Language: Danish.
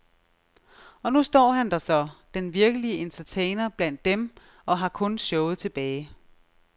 Og nu står han der så, den virkelige entertainer blandt dem, og har kun showet tilbage.